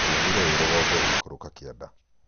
nguonire wĩ rũgongo ũgĩikũrũka kĩanda.